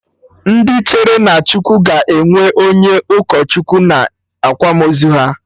Ndị kwere na Chukwu ga-enwe onye ụkọ Chukwu na akwamozu ha